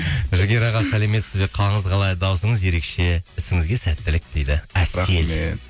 жігер аға сәлеметесіз бе қалыңыз қалай даусыңыз ерекше ісіңізге сәттілік дейді әсел рахмет